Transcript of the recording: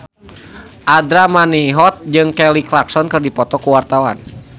Andra Manihot jeung Kelly Clarkson keur dipoto ku wartawan